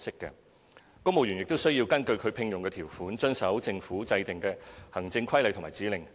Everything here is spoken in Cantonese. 公務員亦須根據其聘用條款，遵守政府制訂的行政規例及指令。